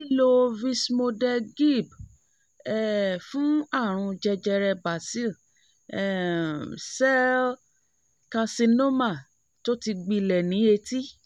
lílo vismodegib um fún àrùn jẹjẹrẹ basil um cell carcinoma tó ti gbilẹ̀ ní etí